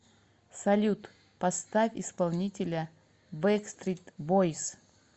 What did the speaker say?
салют поставь исполнителя бэкстрит бойс